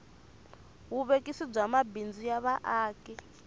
vuvekisi bya mabindzu ya vaaki